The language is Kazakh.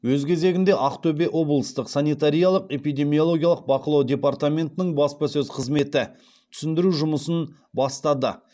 өз кезегінде ақтөбе облыстық санитариялық эпидемиологиялық бақылау департаментінің баспасөз қызметі түсіндіру жұмысын бастады